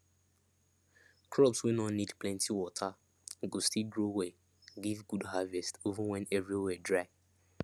crops wey no need plenty water go still grow well give good harvest even when every where dry